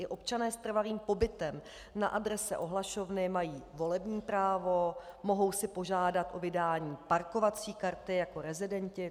I občané s trvalým pobytem na adrese ohlašovny mají volební právo, mohou si požádat o vydání parkovací karty jako rezidenti.